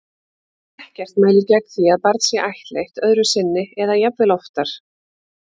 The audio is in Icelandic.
Ekkert mælir gegn því að barn sé ættleitt öðru sinni eða jafnvel oftar.